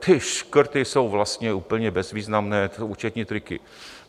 Ty škrty jsou vlastně úplně bezvýznamné, to jsou účetní triky.